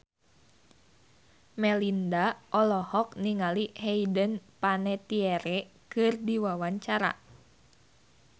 Melinda olohok ningali Hayden Panettiere keur diwawancara